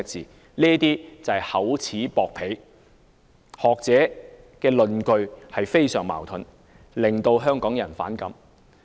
這些都是厚此薄彼，而學者的論據非常矛盾，令香港人反感。